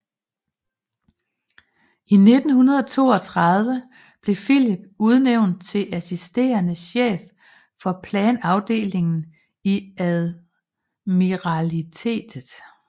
I 1932 blev Phillips udnvænt til assisterende chef for planafdelingen i admiralitetet